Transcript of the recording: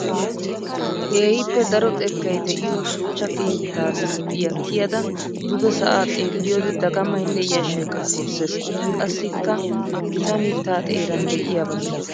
Keehippe daro xekkay de'iyo shuchcha keetta liiphphiya kiyada duge sa'a xeelliyode dagamaynne yashshay kokkorisses! Qassikka gitaa mitta xeeran de'iyaba milatees!